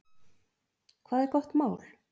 Hvað er gott mál?